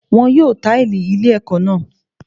Wọ́n yóò táìlì